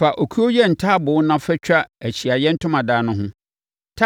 “Fa okuo yɛ ntaaboo na fatwa Ahyiaeɛ Ntomadan no ho.